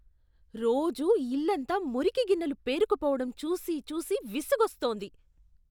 రోజూ ఇల్లంతా మురికి గిన్నెలు పేరుకుపోవడం చూసి చూసి విసుగొస్తోంది.